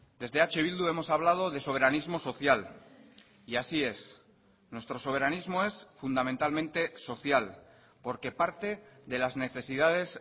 desde eh bildu hemos hablado de soberanismo social y así es nuestro soberanismo es fundamentalmente social porque parte de las necesidades